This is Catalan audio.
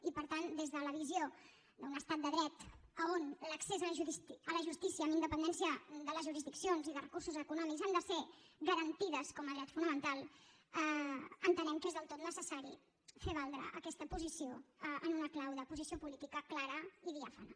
i per tant des de la visió d’un estat de dret on l’accés a la justícia amb independència de les jurisdiccions i de recursos econòmics ha de ser garantida com a dret fonamental entenem que és del tot necessari fer valdre aquesta posició en una clau de posició política clara i diàfana